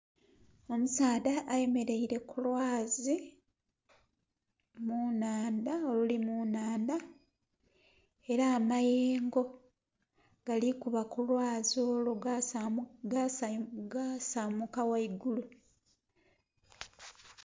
Omusaadha ayemereire kulwazi munhandha oluli munhandha era amayengo gali kuba kulwazi olwo gasambuka ghaigulu .